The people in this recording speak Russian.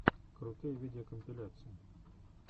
крутые видеокомпиляции